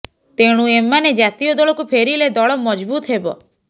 ତେଣୁ ଏମାନେ ଜାତୀୟ ଦଳକୁ ଫେରିଲେ ଦଳ ମଜଭୁତ୍ ହେବ